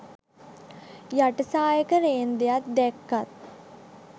යට සායක රේන්දයක් දැක්කත්